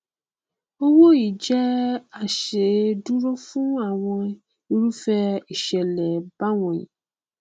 owó yìí jẹ aṣèdúró fún àwọn irúfẹ ìṣẹlẹ báwọnyí